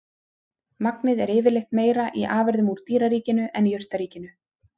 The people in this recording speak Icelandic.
Magnið er yfirleitt meira í afurðum úr dýraríkinu en jurtaríkinu.